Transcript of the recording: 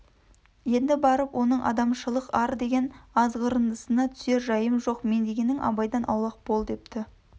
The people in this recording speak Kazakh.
енді барып оның адамшылық ар деген азғырындысына түсер жайым жоқ мен дегенің абайдан аулақ бол депті